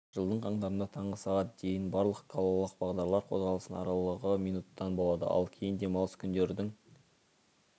жылдың қаңтарында таңғы сағат дейін барлық қалалық бағдарлар қозғалысының аралығы минуттан болады ал кейін демалыс күндердің